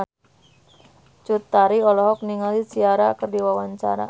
Cut Tari olohok ningali Ciara keur diwawancara